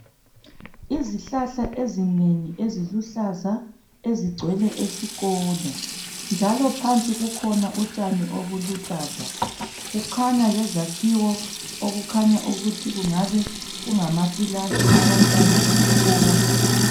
Izihlahla ezinengi eziluhlaza ezigcwele esikolo njalo phansi kukhona utshani obuluhlaza , kukhanya lezakhiwo okukhanya ukuthi kungabe kungamaklasi abantwana besikolo